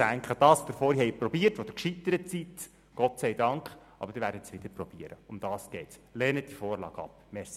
Wir machen Mittagspause, und ich bitte Sie, sich hier nicht vor 12.45 Uhr wieder anzumelden, denn sonst gibt es ein Durcheinander.